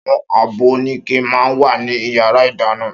Áwòn ábò óniké mà n wá ni iyàrá idàná